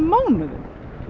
mánuðum